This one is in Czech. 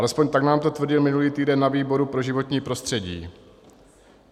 Alespoň tak nám to tvrdil minulý týden na výboru pro životní prostředí.